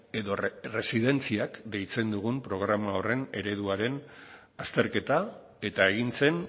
edo erresidentziak deitzen dugun programa horren ereduaren azterketa eta egin zen